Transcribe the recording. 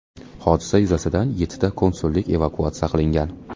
Hodisa yuzasidan yettita konsullik evakuatsiya qilingan.